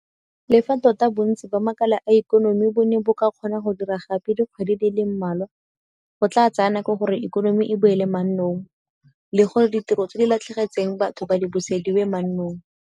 Le fa tota bontsi ba makala a ikonomi bo ne ba kgona go dira gape dikgwedi di le mmalwa, go tla tsaya nako gore ikonomi e boele mannong le gore ditiro tse di latlhegetseng batho di busediwe mannong.